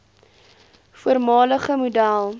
voormalige model